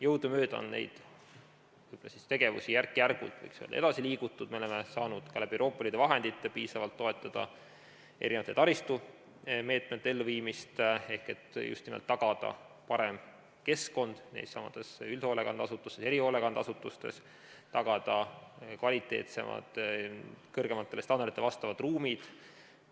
Jõudumööda on nende tegevustega järk-järgult, võiks öelda, edasi liigutud, me oleme saanud ka Euroopa Liidu vahenditest piisavalt toetada erinevate taristumeetmete elluviimist, et just nimelt tagada parem keskkond neissamades üldhoolekandeasutustes, erihoolekandeasutustes, tagada kvaliteetsemad, kõrgematele standarditele vastavad ruumid.